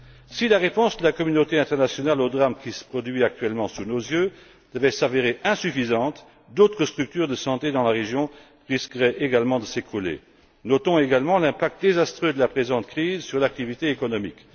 Si la réponse de la communauté internationale au drame qui se produit actuellement sous nos yeux devait s'avérer insuffisante, d'autres structures de santé dans la région risqueraient également de s'écrouler. Notons également l'impact désastreux de la présente crise sur l'activité économique.